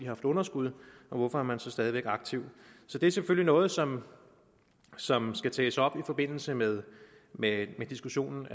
haft underskud hvorfor er man så stadig aktiv det er selvfølgelig noget som som skal tages op i forbindelse med med diskussionen